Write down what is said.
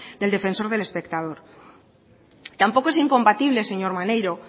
del defensor del espectador tampoco es incompatible señor maneiro